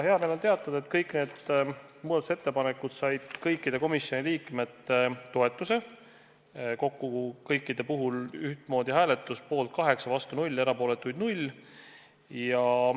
Hea meel on teatada, et kõik need muudatusettepanekud said kõikide komisjoni liikmete toetuse, kokku oli kõikide puhul ühtemoodi hääletus: poolt 8, vastu 0, erapooletuid 0.